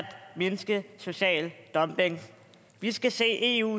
mindske social dumping vi skal se eu